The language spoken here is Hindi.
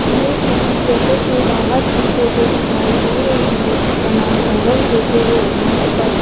ये किसी कैफे के बाहर की फोटो दिखाई दे रही है जिसका नाम ओवेन कैफे है यहां पर --